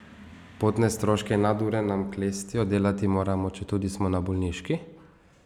Potne stroške in nadure nam klestijo, delati moramo, četudi smo na bolniški.